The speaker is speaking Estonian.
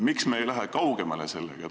Miks me ei lähe sellega kaugemale?